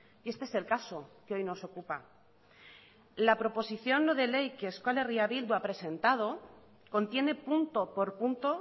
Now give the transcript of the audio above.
y este es el caso que hoy nos ocupa la proposición no de ley que euskal herria bildu ha presentado contiene punto por punto